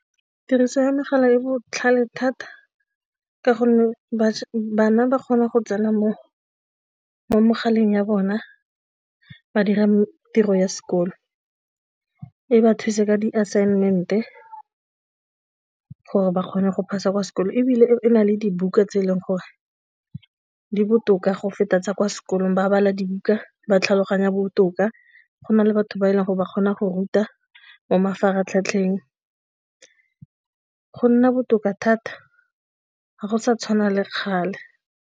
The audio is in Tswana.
Tiriso ya megala e e botlhale thata ka gonne bana ba kgona go tsena mo mogaleng ya bona ba dira tiro ya sekolo, e ba thuse ka di assignment e gore ba kgone go pass a kwa sekolong ebile e na le dibuka tse e leng gore di botoka go feta tsa kwa sekolong ba bala dibuka ba tlhaloganya botoka, go na le batho ba e leng gore ba kgona go ruta mo mafaratlhatlheng, go nna botoka thata ga go sa tshwana le kgale.